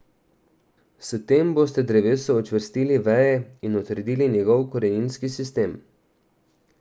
S tem boste drevesu učvrstili veje in utrdili njegov koreninski sistem.